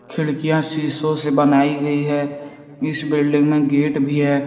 खिड़कियां शीशो से बनाई गयी है। इस बिल्डिंग में गेट भी है।